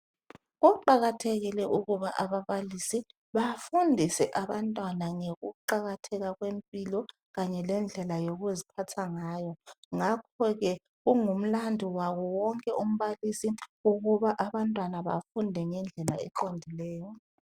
Kuqakathekile ukubana ababalisi bafundise abantwana ngokuqakatheka kwempilo kanye lendlela yokuziphatha ngakho ke kungumlandu wabo wonke umbalisi ukuba abantwana bafunde ngendlela eqondileyo.